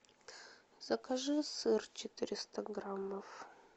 закажи сыр четыреста граммов